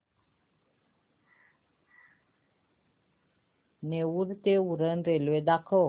नेरूळ ते उरण रेल्वे दाखव